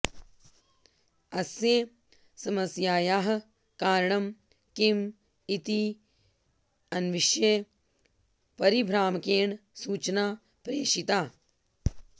अस्य समस्यायाः कारणं किम् इति अन्विष्य परिभ्रामकेण सूचना प्रेषिता